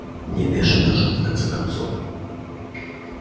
не бешеный же он в конце концов